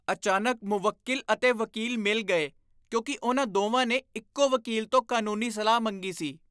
ਅਚਾਨਕ, ਮੁਵੱਕਿਲ ਅਤੇ ਵਕੀਲ ਮਿਲ ਗਏ ਕਿਉਂਕਿ ਉਨ੍ਹਾਂ ਦੋਵਾਂ ਨੇ ਇੱਕੋ ਵਕੀਲ ਤੋਂ ਕਾਨੂੰਨੀ ਸਲਾਹ ਮੰਗੀ ਸੀ।